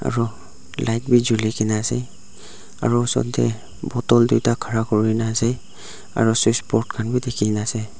aru light bi julikae na ase aro osor tae bottle tuita khara kurina ase aro switchboard khan bi dikhina ase.